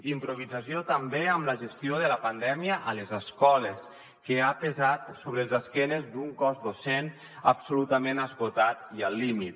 improvisació també en la gestió de la pandèmia a les escoles que ha pesat sobre les esquenes d’un cos docent absolutament esgotat i al límit